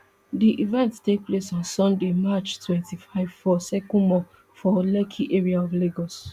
di event take place on sunday march twenty-five for circle mall for lekki area of lagos